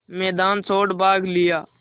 मैदान छोड़ भाग लिया